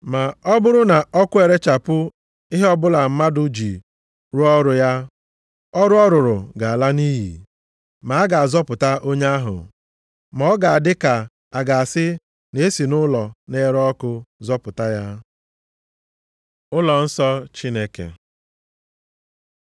Ma ọ bụrụ na ọkụ erechapụ ihe ọbụla mmadụ ji rụọ ọrụ ya, ọrụ ọ rụrụ ga-ala nʼiyi, ma a ga-azọpụta onye ahụ, ma ọ ga-adị ka a ga-asị na e si nʼụlọ na-ere ọkụ zọpụta ya. Ụlọnsọ Chineke